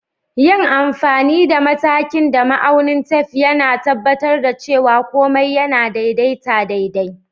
Yin amfani da matakin da ma'aunin tef, yAna tabbatar da cewa komai yAna daidaita daidai.